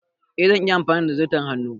Eh, zan iya amfani da zarton hannu.